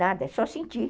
Nada, é só sentir.